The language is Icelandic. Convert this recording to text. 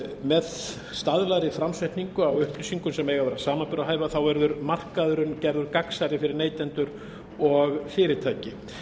með staðlaðri framsetningu á upplýsingum sem eiga að vera samanburðarhæfar verður markaðurinn gerður gagnsærri fyrir neytendur og fyrirtæki